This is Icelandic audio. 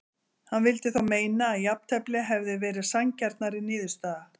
Hann vildi þó meina að jafntefli hefði verið sanngjarnari niðurstaða.